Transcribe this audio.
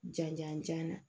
Janjan jan na